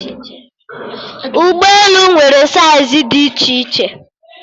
Ụgbọelu nwere saiz dị iche iche